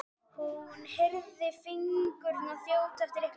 hún heyrði fingurna þjóta eftir lyklaborðinu.